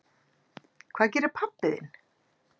Hvað gerir pabbi þinn?